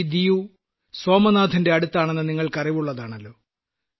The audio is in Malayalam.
ഈ ദിയു സോമനാഥിന്റെ അടുത്താണെന്ന് താങ്കൾക്കറിവുള്ളതാണല്ലോ